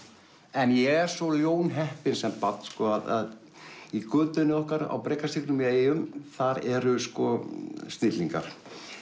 en ég er svo ljónheppinn sem barn að í götunni okkar á Brekastígnum í eyjum þar eru sko snillingar